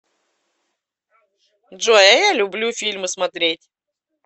джой а я люблю фильмы смотреть